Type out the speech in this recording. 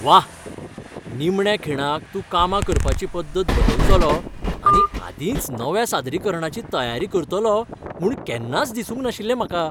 व्वा! निमण्या खिणाक तूं कामां करपाची पद्दत बदलतलो आनी आदींच नव्या सादरीकरणाची तयारी करतलो म्हूण केन्नाच दिसूंक नाशिल्लें म्हाका.